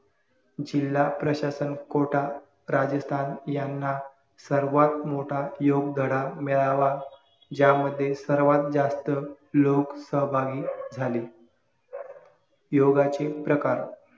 जिल्हा प्रशासन कोटा राजस्थान याना सर्वात मोठ्ठा योग धडा मिळावा यामध्ये सर्वात जास्त लोक सहभागी झाले योगाचे प्रकार